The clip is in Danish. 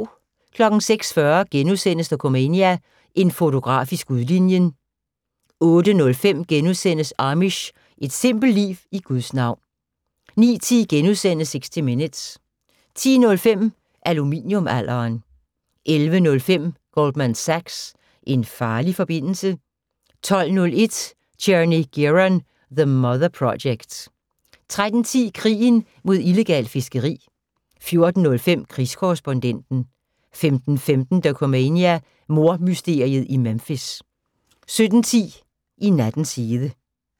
06:40: Dokumania: En fotograf i skudlinjen * 08:05: Amish – et simpelt liv i Guds navn * 09:10: 60 Minutes * 10:05: Aluminium-alderen 11:05: Goldman Sachs - en farlig forbindelse? 12:01: Tierney Gearon: The Mother Project 13:10: Krigen mod illegalt fiskeri 14:05: Krigskorrespondenten 15:15: Dokumania: Mordmysteriet i Memphis 17:10: I nattens hede